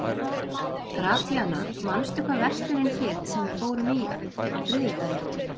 Gratíana, manstu hvað verslunin hét sem við fórum í á þriðjudaginn?